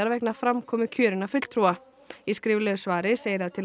vegna framkomu kjörinna fulltrúa í skriflegu svari segir að til